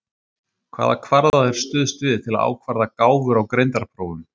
Hvaða kvarða er stuðst við til að ákvarða gáfur á greindarprófum?